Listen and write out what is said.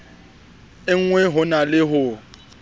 engwe ho na le ho